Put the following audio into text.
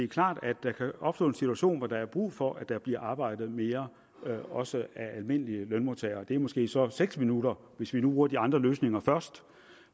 klart at der kan opstå en situation hvor der er brug for at der bliver arbejdet mere også af almindelige lønmodtagere det er måske så seks minutter hvis vi nu bruger de andre løsninger først